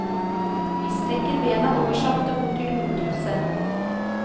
Vi strekker bena og går sakte bort til hovedhuset.